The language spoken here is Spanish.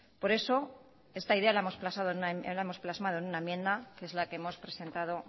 por eso esta idea la hemos plasmado en una enmienda que es la que hemos presentado